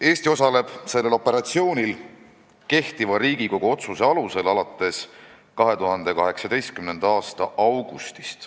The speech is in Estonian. Eesti osaleb sellel operatsioonil kehtiva Riigikogu otsuse alusel alates 2018. aasta augustist.